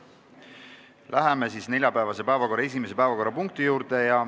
Läheme neljapäevase päevakorra esimese päevakorrapunkti juurde.